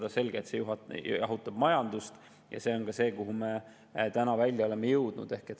On selge, et see jahutab majandust, ja see on see, kuhu me oleme täna välja jõudnud.